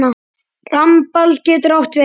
Rambald getur átt við